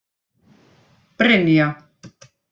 Brynja